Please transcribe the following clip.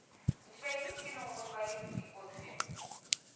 у тебя есть кино мой дворецкий годфри